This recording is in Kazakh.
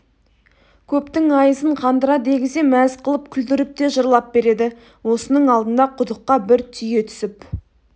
көптің айызын қандыра дегізе мәз қылып күлдіріп те жырлап береді осының алдында құдыққа бір түйе түсіп